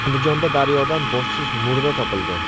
Andijonda daryodan boshsiz murda topildi.